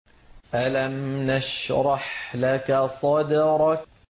أَلَمْ نَشْرَحْ لَكَ صَدْرَكَ